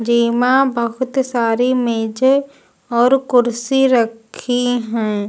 जेमा बहुत सारी मेजे और कुर्सी रखी है।